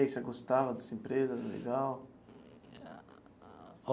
E aí, você gostava dessa empresa, era legal?